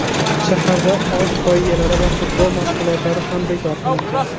Shaharda ot poygalari va futbol mashg‘ulotlari ham bekor qilingan.